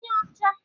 Ibu onye ọcha?